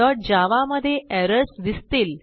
teststudentजावा मधे एरर्स दिसतील